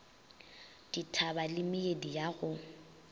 dithaba le meedi ya go